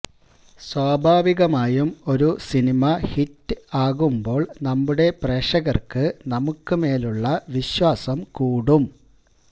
സ്വാഭാവികമായും ഒരു cinema hit ആകുമ്പോള് നമ്മുടെ പ്രേക്ഷകര്ക്ക് നമുക്ക് മേലുള്ള വിശ്വാസം കൂടും